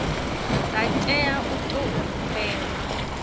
dza tea u tou humbelwa